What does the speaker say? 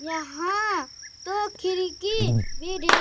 यहाँ तो खिड़की भी ढेरी --